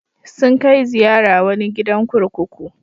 Sun kai ziyara wani gidan kurkuku.